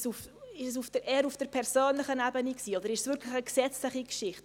War es eher auf der persönlichen Ebene, oder ist es wirklich eine gesetzliche Geschichte?